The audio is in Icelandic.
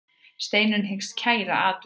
Steinunn hyggst kæra atvikið.